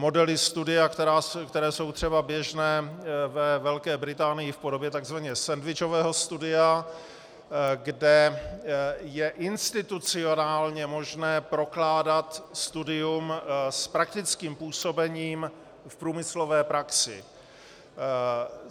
Modely studia, které jsou třeba běžné ve Velké Británii v podobě tzv. sendvičového studia, kde je institucionálně možné prokládat studium s praktickým působením v průmyslové praxi.